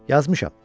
Yazmışam.